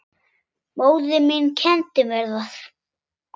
Móðir mín kenndi mér það.